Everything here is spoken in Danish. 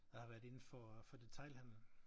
Jeg har været indenfor for detailhandlen